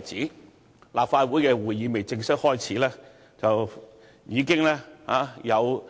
當立法會的會議尚未正式開始之際，已有